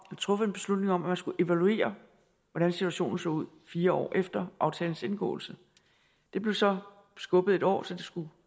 truffet en beslutning om at man skulle evaluere hvordan situationen så ud fire år efter aftalens indgåelse det blev så skubbet et år så det skulle